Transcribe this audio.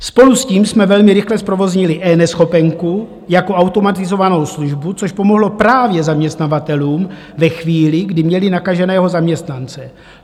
Spolu s tím jsme velmi rychle zprovoznili eNeschopenku jako automatizovanou službu, což pomohlo právě zaměstnavatelům ve chvíli, kdy měli nakaženého zaměstnance.